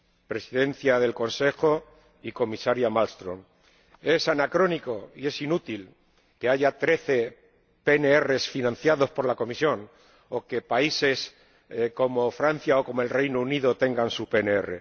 Presidente en ejercicio del Consejo y Comisaria Malmström, es anacrónico y es inútil que haya trece PNR financiados por la Comisión o que países como Francia o como el Reino Unido tengan su PNR.